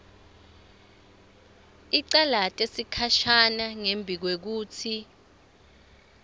icalate sikhashana ngembikwekutsi